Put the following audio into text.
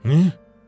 Nə?